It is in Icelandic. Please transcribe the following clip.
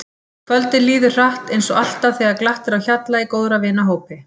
Kvöldið líður hratt eins og alltaf þegar glatt er á hjalla í góðra vina hópi.